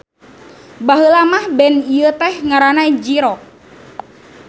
Baheula mah band ieu teh ngaranna J-Rock.